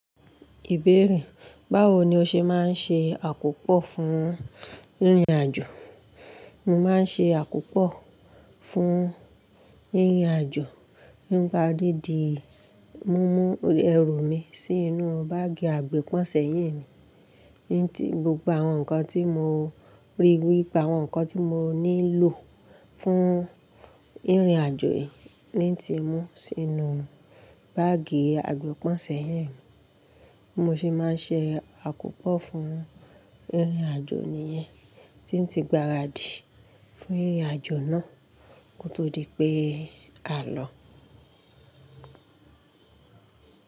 Ìbérè: Báwo ni o ṣe máa ń ṣe àkópọ̀ fún ìrìnàjò? Mo máa ń ṣe àkópọ̀ fún ìrìnàjò nípa dídi, mo mú ẹrù mi sínú báàgì àgbepọ̀n sẹ́yìn mi ní ti gbogbo àwọn nǹkan tí mo rí, gbogbo àwọn nǹkan tí mo nílò fún ìrìnàjò yìí ni n ti mú sínú báàgì àgbepọ̀n sẹ́yìn mi. Bi mo se máa ń ṣe àkópọ̀ fún ìrìnàjò nìyẹn tí ń ti gbaradì fún ìrìnàjò náà. Kó tó di pé à lọ.